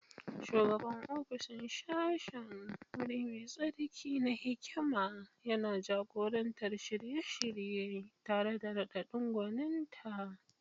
Shugaban ofishin sashen, wuri mai tsarki na hikima, yana jagorantar shirye-shirye tare da raɗaɗin gwaninta.